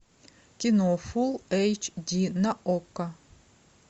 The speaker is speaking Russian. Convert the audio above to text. кино фулл эйч ди на окко